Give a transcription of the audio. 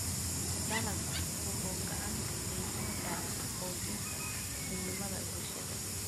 Dalaggu wuxuu gacan ka geysan karaa xoojinta midnimada bulshada.